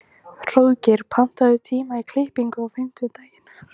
Hróðgeir, pantaðu tíma í klippingu á fimmtudaginn.